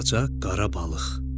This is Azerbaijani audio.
Balaca qara balıq.